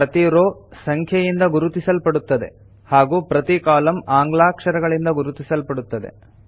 ಪ್ರತೀ ರೋ ಸಂಖ್ಯೆಯಿಂದ ಗುರುತಿಸಲ್ಪಡುತ್ತದೆ ಹಾಗೂ ಪ್ರತೀ ಕಾಲಂ ಆಂಗ್ಲಾಕ್ಷರಗಳಿಂದ ಗುರುತಿಸಲ್ಪಡುತ್ತದೆ